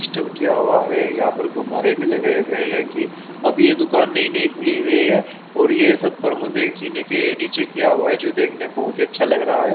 System किया हुआ है यहापर गुब्बारे भी लगाए हुए है की अब ये दुकान नयी नयी खुली हुयी है और देखने बहुतही आछ्या लग रहा है।